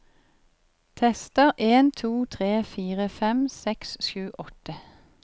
Tester en to tre fire fem seks sju åtte